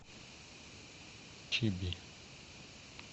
чиби